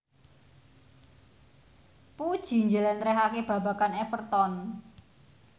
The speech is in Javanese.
Puji njlentrehake babagan Everton